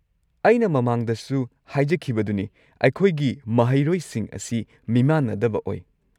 ꯑꯩꯅ ꯃꯃꯥꯡꯗꯁꯨ ꯍꯥꯏꯖꯈꯤꯕꯗꯨꯅꯤ, ꯑꯩꯈꯣꯏꯒꯤ ꯃꯍꯩꯔꯣꯏꯁꯤꯡ ꯑꯁꯤ ꯃꯤꯃꯥꯟꯅꯗꯕ ꯑꯣꯏ꯫